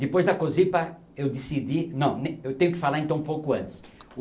Depois da Cosipa, eu decidi... Não, eu tenho que falar então um pouco antes.